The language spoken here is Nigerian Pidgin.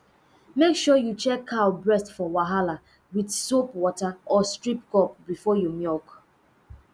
make sure you check cow breast for wahala with soap water or strip cup before you milk